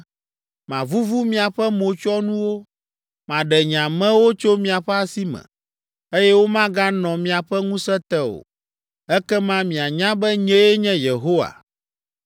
Mavuvu miaƒe motsyɔnuwo, maɖe nye amewo tso miaƒe asi me, eye womaganɔ miaƒe ŋusẽ te o. Ekema mianya be nyee nye Yehowa.